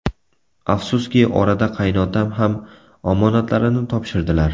Afsuski, orada qaynotam ham omonatlarini topshirdilar.